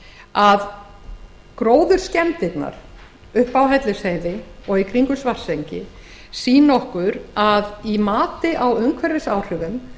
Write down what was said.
að gróðurskemmdirnar uppi á hellisheiði og í kringum svartsengi sýna okkur að í mati á umhverfisáhrifum